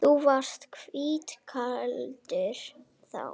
Þú varst hvítklæddur þá.